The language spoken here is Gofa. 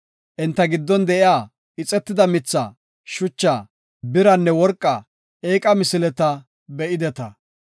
Enta giddon de7iya ixetida mitha, shucha, biranne worqa eeqa misileta be7ideta.